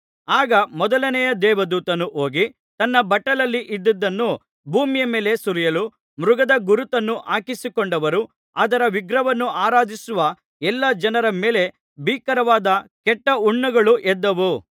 ಆಗ ಮೊದಲನೆಯ ದೇವದೂತನು ಹೋಗಿ ತನ್ನ ಬಟ್ಟಲಲ್ಲಿ ಇದ್ದದ್ದನ್ನು ಭೂಮಿಯ ಮೇಲೆ ಸುರಿಯಲು ಮೃಗದ ಗುರುತನ್ನು ಹಾಕಿಸಿಕೊಂಡವರು ಅದರ ವಿಗ್ರಹವನ್ನು ಆರಾಧಿಸುವ ಎಲ್ಲಾ ಜನರ ಮೇಲೆ ಭೀಕರವಾದ ಕೆಟ್ಟ ಹುಣ್ಣುಗಳು ಎದ್ದವು